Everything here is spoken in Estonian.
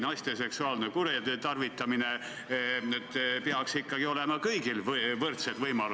Käesolev eelnõu ja need muudatused puudutavad ikkagi ennekõike inimesi, kes peaksid paremini teatud teenuseid saama.